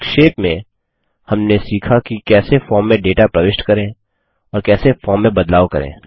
संक्षेप में हमने सीखा कि कैसे फॉर्म में डेटा प्रविष्ट करें और कैसे फॉर्म में बदलाव करें